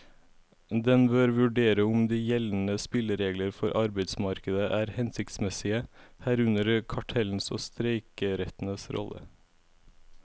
Den bør vurdere om de gjeldende spilleregler for arbeidsmarkedet er hensiktsmessige, herunder kartellenes og streikerettens rolle.